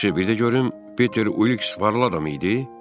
Yaxşı, bir də görüm Peter Uliks varlı adam idi?